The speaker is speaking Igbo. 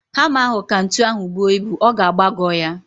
Hama ahu ka ntu ahu buo ibu. Ọ ga-agbagọ ya